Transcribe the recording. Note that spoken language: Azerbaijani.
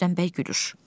Rüstəm bəy gülür.